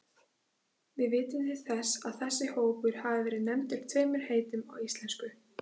Við vitum til þess að þessi hópur hafi verið nefndur tveimur heitum á íslensku.